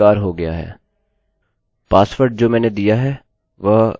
password जो मैंने दिया है वह abc है